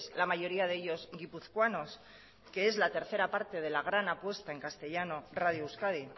la mayoría de ellos guipuzcoanos que es la tercera parte de la gran apuesta en castellano radio euskadi